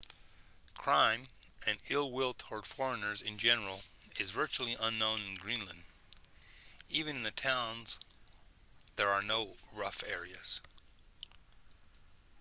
crime and ill-will toward foreigners in general is virtually unknown in greenland even in the towns there are no rough areas